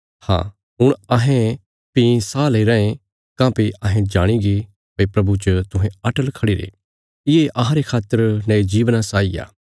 हाँ हुण अहें भीं साह लेईराँ ये काँह्भई अहें जाणीगे भई प्रभु च तुहें अटल खढ़िरे ये अहांरे खातर नये जीवना साई आ